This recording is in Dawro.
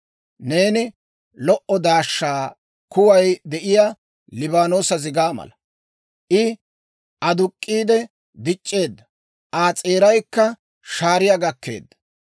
« ‹Neeni lo"o daashsha kuway de'iyaa Liibaanoosa zigaa mala. I aduk'k'iide dic'c'eedda; Aa s'eeraykka shaariyaa gakkeedda.